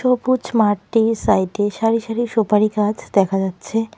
সবুজ মাঠটির সাইড -এ সারি সারি সুপারি গাছ দেখা যাচ্ছে।